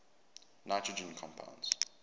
nitrogen compounds